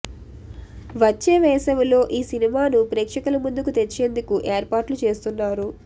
వచ్చే వేసవిలో ఈ సినిమాను ప్రేక్షకుల ముందుకు తెచ్చేందుకు ఏర్పాట్లు చేస్తున్నారు